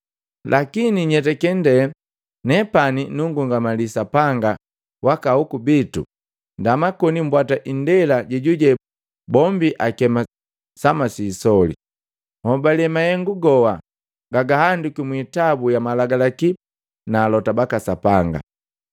Lakini nyetake ndee nepani nungungamali Sapanga waka ahoku bitu ndama koni mbwata indela jejuje bombi akema sama siisoli. Nhobale mahengu goha gagahandikwi mwiitabu ya malagalaki na alota baka Sapanga.